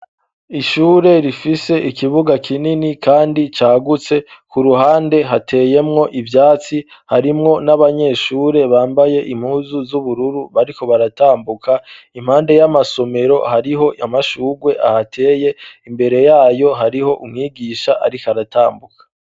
Ishure rifise ikibuga kinini kandi cagutse. K'uruhande hateyemwo ivyatsi, harimwo n'abanyeshure bambaye impuzu z'ubururu bariko baratambuka. Impande y'amasomero, hariho amashurwe ahateye, imbere y'ayo, hariho umwigisha ariko aratambuka.